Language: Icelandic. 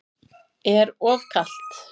Er of kalt.